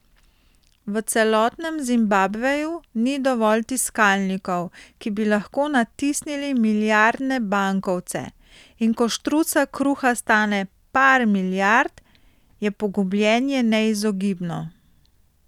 V celotnem Zimbabveju ni dovolj tiskalnikov, ki bi lahko natisnili milijardne bankovce, in ko štruca kruha stane par milijard, je pogubljenje neizogibno.